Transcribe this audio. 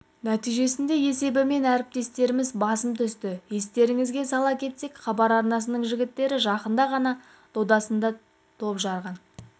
нәтижесінде есебімен әріптестеріміз басым түсті естеріңізге сала кетсек хабар арнасының жігіттері жақында ғана додасында топ жарған